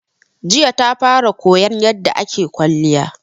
Jiya ta fara koyan yarda ake kwalliya